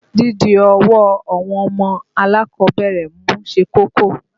Dídi ọwọ́ àwọn ọmọ alákọ̀ọ́bẹ̀rẹ̀ mú ṣe kókó.